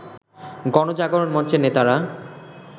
গণজাগরণ মঞ্চের নেতারা